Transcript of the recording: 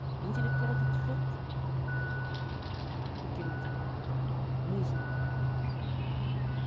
интеллектуалды құқық ыыы көркем әдебиет ы музыка мхм